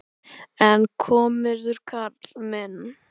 En komirðu, karl minn!